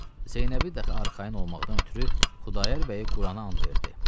Zeynəbi dəxi arxayın olmaqdan ötrü Xudayar bəyi Qurana and verdi.